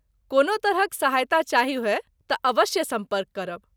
कोनो तरहक सहायता चाही होय तँ अवश्य सम्पर्क करब ।